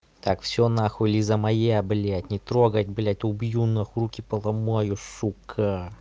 так всё нахуй лиза моя блядь не трогать блядь убью нахуй руки поломаю сука